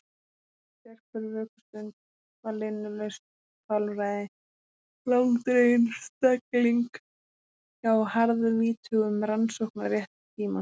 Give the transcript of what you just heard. Sérhver vökustund var linnulaust kvalræði, langdregin stegling hjá harðvítugum rannsóknarrétti tímans.